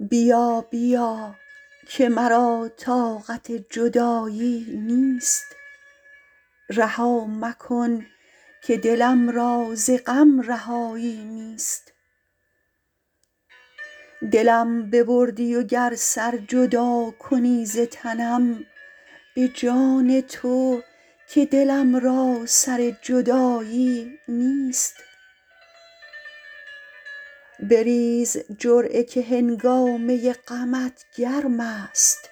بیا بیا که مرا طاقت جدایی نیست رها مکن که دلم را ز غم رهایی نیست دلم ببردی و گر سر جدا کنی ز تنم به جان تو که دلم را سر جدایی نیست بریز جرعه که هنگامه غمت گرم است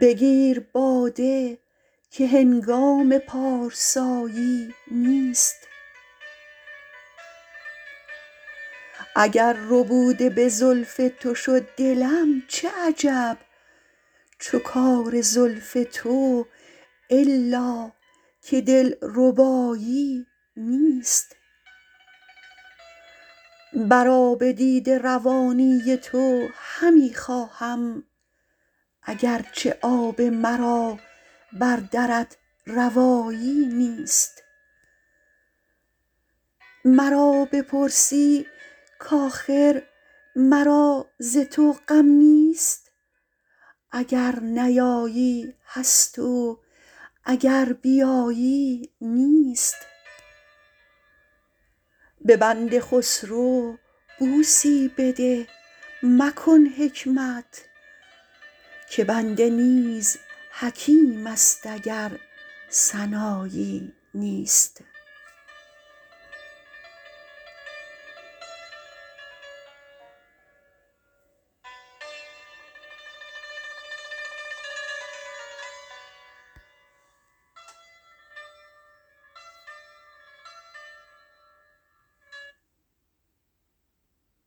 بگیر باده که هنگام پارسایی نیست اگر ربوده به زلف تو شد دلم چه عجب چو کار زلف تو الا که دلربایی نیست بر آب دیده روانی تو همی خواهم اگر چه آب مرا بر درت روایی نیست مرا بپرسی کاخر مرا ز تو غم نیست اگر نیایی هست و اگر بیایی نیست به بنده خسرو بوسی بده مکن حکمت که بنده نیز حکیم است اگر سنایی نیست